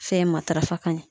Fɛn matarafa ka ɲɛ